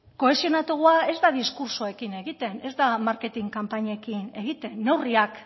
kohesionatuagoa ez da diskurtsoekin egiten ez da marketing kanpainekin egiten neurriak